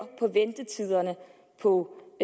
på